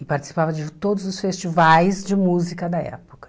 E participava de todos os festivais de música da época.